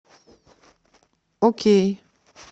окей